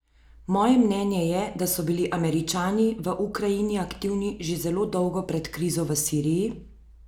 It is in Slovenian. Moje mnenje je, da so bili Američani v Ukrajini aktivni že zelo dolgo pred krizo v Siriji?